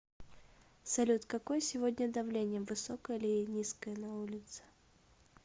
салют какое сегодня давление высокое или низкое на улице